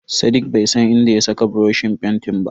Sadiq bai san inda ya saka buroshin fentin ba.